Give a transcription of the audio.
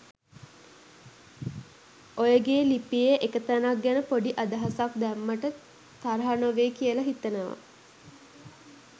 ඔයගේ ලිපියේ එක තැනක් ගැන පොඩි අදහසක් දැම්මට තරහ නොවෙයි කියලා හිතනවා.